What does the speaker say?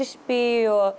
krispí og